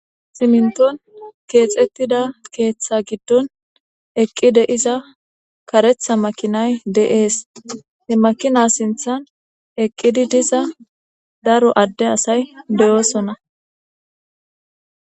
siminton keexettida keeththa giddon eqqide iza karetha makinay deees he makina sinthan eqqidi diza daro adde asay beyoosonna